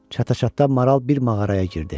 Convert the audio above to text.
Çataçatda maral bir mağaraya girdi.